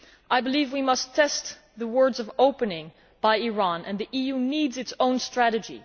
I believe we must test the words of opening from Iran, and the EU needs its own strategy.